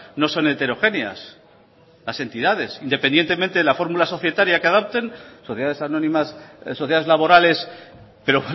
no son heterogéneas las entidades independientemente de la fórmula societaria que adopten sociedades anónimas sociedades laborales pero